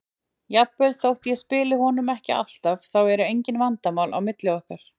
Jafnvel þótt ég spili honum ekki alltaf, þá eru engin vandamál á milli okkar.